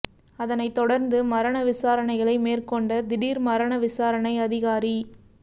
அதனை தொடர்ந்து மரண விசாரணைகளை மேற்கொண்ட திடீர் மரண விசாரணை அதிகாரி